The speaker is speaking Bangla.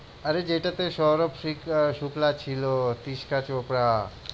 আরে যেইটাতে সৌরভ সি~শুক্লা ছিল, তিশকা চোপড়া।